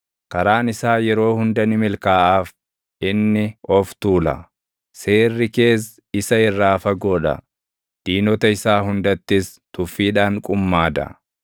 Karaan isaa yeroo hunda ni milkaaʼaaf; inni of tuula; seerri kees isa irraa fagoo dha; diinota isaa hundattis tuffiidhaan qummaada.